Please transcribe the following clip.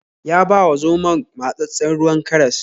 Ya ba wa zomon matsatssen ruwan karas.